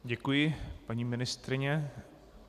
Děkuji, paní ministryně.